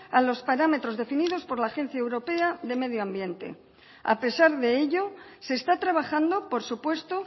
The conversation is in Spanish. a los parámetros definidos por la agencia europea de medio ambiente a pesar de ello se está trabajando por supuesto